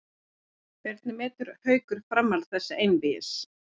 Hvernig metur Haukur framhald þessa einvígis?